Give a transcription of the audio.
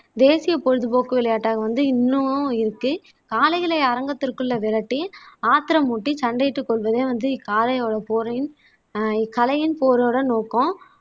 தேசிய பொழுதுபோக்கு விளையாட்டாக வந்து இன்னமும் இருக்கு ஆலைகளை அரங்கத்திற்குள்ள விரட்டி ஆத்திரமூட்டி சண்டையிட்டு கொல்வதே வந்து இக்காளையோட போரையும் ஆஹ் இக்கலையின் போரோட நோக்கம்